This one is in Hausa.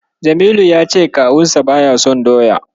Jamilu ya ce kawunsa baya son Doya.